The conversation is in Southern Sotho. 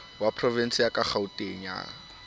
wa porovense wa kgauteng ka